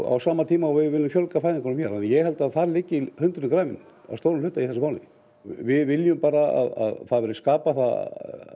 á sama tíma og við viljum fjölga fæðingunum hér ég held að þar liggi hundurinn grafinn að stórum hluta í þessu máli við viljum bara að það verði skapað það